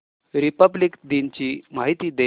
Republic दिन ची माहिती दे